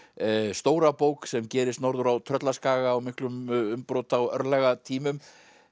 stóra bók sem gerist norður á Tröllaskaga á miklum umbrota og örlagatímum